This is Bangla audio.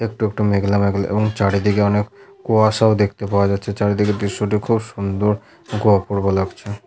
একটু মেঘলা মেঘলা এবং চারিদিকে অনেক কুয়াশও দেখতে পাওয়া যাচ্ছে চারিদিকের দৃশ্যটি খুব সুন্দর ও অপূর্ব লাগছে ।